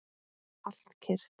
Allt kyrrt.